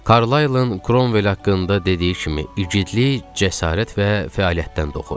Karlayın Kromvel haqqında dediyi kimi igidlik cəsarət və fəaliyyətdən doğur.